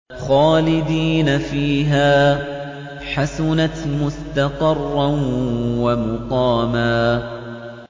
خَالِدِينَ فِيهَا ۚ حَسُنَتْ مُسْتَقَرًّا وَمُقَامًا